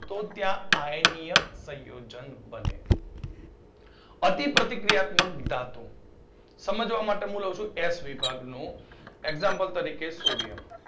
તો ત્યાં આયનિય સંયોજન બને અતિપ્રતિક્રિયાત્મક ધાતુ સમજવા માટે મુ લઉ સુ S વિભાગનું example તરીકે સોડીયમ